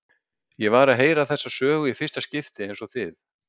Ég var að heyra þessa sögu í fyrsta skipti eins og þið.